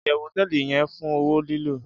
iyewu hoteeli ye fun owo lilo